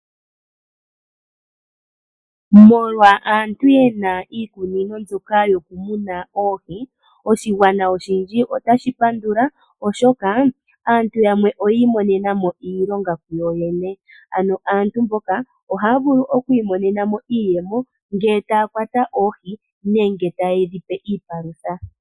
Molwa aantu mboka yena iikunino yoku muna oohi, oshigwana oshindji otashi pandula oshoka aantu yamwe oyi imonena mo iilonga yo yene. Ano aantu mboka ohaya vulu okwi imonena mo iiyemo ngele taya kwata oohi nenge taye dhi pe iipalutha.